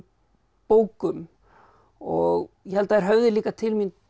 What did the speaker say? bókum og ég held þær höfði líka til mín